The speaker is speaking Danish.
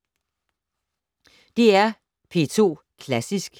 DR P2 Klassisk